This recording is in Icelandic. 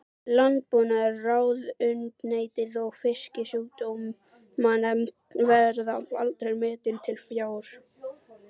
Landbúnaðarráðuneytið og Fisksjúkdómanefnd, verða aldrei metin til fjár.